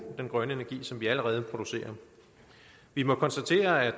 den grønne energi som vi allerede producerer vi må konstatere at